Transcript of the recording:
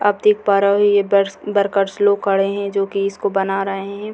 आप देख पा रहे हो यह वर्कर लोग खड़े हैं जो कि इसको बना रहे हैं।